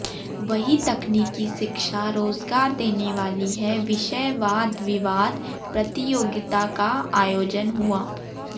वहीं तकनीकी शिक्षा रोजगार देने वाली है विषय वादविवाद प्रतियोगिता का आयोजन हुआ